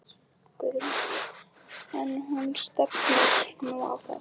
Guðrún: En þú stefnir nú á það?